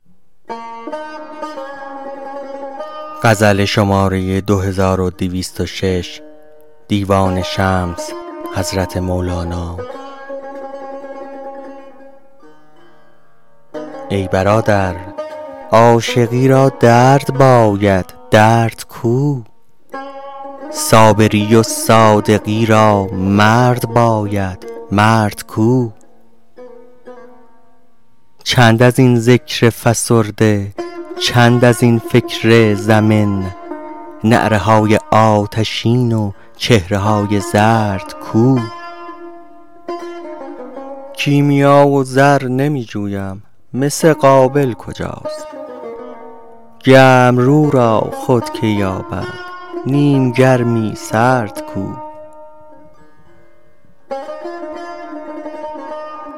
ای برادر عاشقی را درد باید درد کو صابری و صادقی را مرد باید مرد کو چند از این ذکر فسرده چند از این فکر زمن نعره های آتشین و چهره های زرد کو کیمیا و زر نمی جویم مس قابل کجاست گرم رو را خود کی یابد نیم گرمی سرد کو